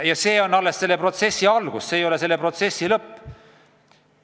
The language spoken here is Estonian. Ja see on alles selle protsessi algus, see ei ole selle protsessi lõpp.